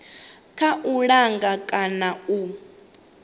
kha u langa kana u